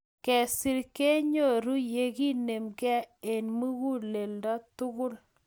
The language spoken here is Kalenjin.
Kesir kenyoru ye kakinemgei eng muguleldo tugul